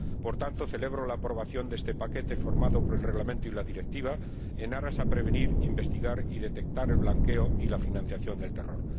Por tanto, celebro la aprobación de este paquete formado por el Reglamento y la Directiva, con vistas a prevenir, investigar y detectar el blanqueo y la financiación del terror.